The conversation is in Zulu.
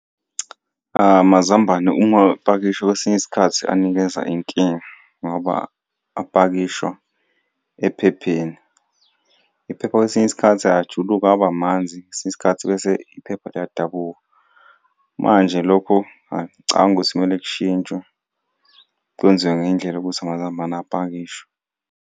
Amazambane uma uwapakisha kwesinye isikhathi anikeza inkinga ngoba apakishwa ephepheni, iphepha kwesinye isikhathi ayajuluka aba amanzi kwesinye isikhathi bese iphepha liyadabuka. Manje lokho hayi ngicabanga ukuthi kumele kushintshwe kwenziwe ngendlela yokuthi amazambane apakishwe.